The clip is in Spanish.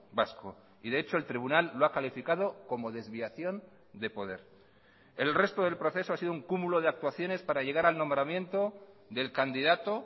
vasco y de hecho el tribunal lo ha calificado como desviación de poder el resto del proceso ha sido un cúmulo de actuaciones para llegar al nombramiento del candidato